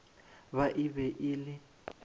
ba e be e le